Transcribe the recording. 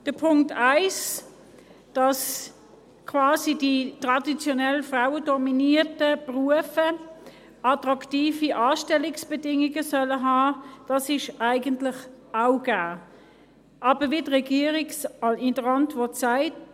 Der Punkt 1, dass quasi die traditionell frauendominierten Berufe attraktive Anstellungsbedingungen haben sollen, ist eigentlich auch gegeben, aber wie es die Regierung in der Antwort sagt: